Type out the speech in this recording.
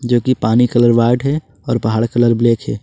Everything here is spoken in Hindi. जो की पानी कलर व्हाइट है और पहाड़ कलर ब्लैक है।